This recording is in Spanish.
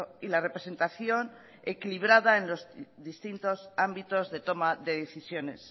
y la representación equilibrada en los distintos ámbitos de toma de decisiones